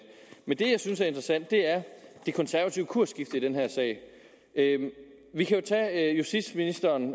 men det jeg synes er interessant er det konservative kursskifte i den her sag vi kan jo tage justitsministeren